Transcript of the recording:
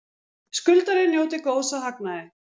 Skuldari njóti góðs af hagnaði